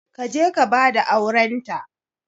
Ka je ka ba da aurents.